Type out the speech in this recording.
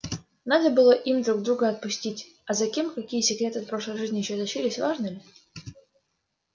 надо было им друг друга отпустить а за кем какие секреты от прошлой жизни ещё тащились важно ли